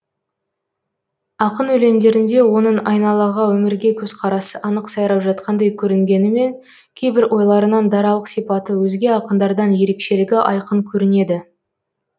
ақын өлеңдерінде оның айналаға өмірге көзқарасы анық сайрап жатқандай көрінгенімен кейбір ойларынан даралық сипаты өзге ақындардан ерекшелігі айқын көрінеді